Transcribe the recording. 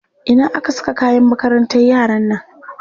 Ina aka saka kayan makarantar yaran nan?